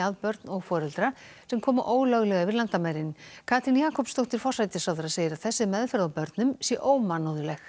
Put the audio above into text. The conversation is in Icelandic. að börn og foreldra sem koma ólöglega yfir landamærin Katrín Jakobsdóttir forsætisráðherra segir að þessi meðferð á börnum sé ómannúðleg